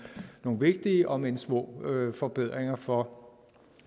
vigtige om end små forbedringer for